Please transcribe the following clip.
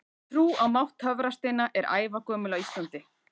Trú á mátt töfrasteina er ævagömul á Íslandi.